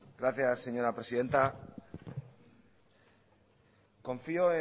gracias señora presidenta confío